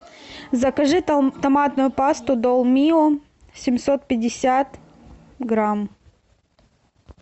закажи томатную пасту долмио семьсот пятьдесят грамм